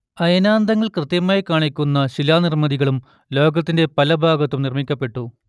അയനാന്തങ്ങൾ കൃത്യമായി കാണിക്കുന്ന ശിലാനിർമ്മിതികളും ലോകത്തിന്റെ പലഭാഗത്തും നിർമ്മിക്കപ്പെട്ടു